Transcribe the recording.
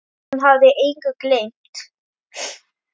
Hún hafði engu gleymt.